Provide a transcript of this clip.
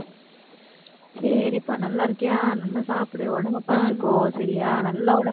சரிப்பா, நல்லா இருக்கியா நல்லா சாப்பிடு. உடம்பை பார்த்துக்கோ. சரியா நல்லா உடம்பை